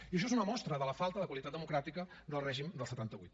i això és una mostra de la falta de qualitat democràtica del règim del setanta vuit